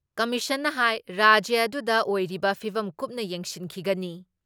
ꯀꯃꯤꯁꯟꯅ ꯍꯥꯏ ꯔꯥꯖ꯭ꯌ ꯑꯗꯨꯗ ꯑꯣꯏꯔꯤꯕ ꯐꯤꯚꯝ ꯀꯨꯞꯅ ꯌꯦꯡꯁꯤꯟꯈꯤꯒꯅꯤ ꯫